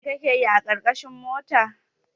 Mai kake yi a ƙarƙashin mota?